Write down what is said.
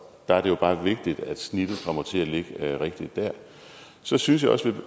der er det jo bare vigtigt at snittet kommer til at ligge rigtigt så synes jeg også